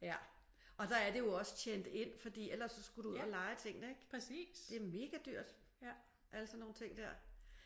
Ja og der er det jo også tjent ind fordi ellers så skulle du ud og leje tingene ik? Det er mega dyrt sådan alle nogle ting der